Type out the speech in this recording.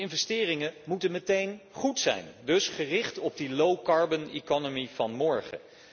Die investeringen moeten meteen goed zijn, dus gericht op die koolstofarme economie van morgen.